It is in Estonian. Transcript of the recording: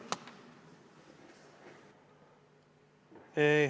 Aitäh!